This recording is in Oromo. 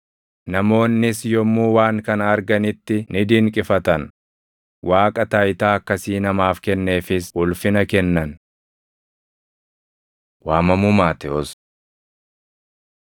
Namoonnis yommuu waan kana arganitti ni dinqifatan; Waaqa taayitaa akkasii namaaf kenneefis ulfina kennan. Waamamuu Maatewos 9:9‑13 kwf – Mar 2:14‑17; Luq 5:27‑32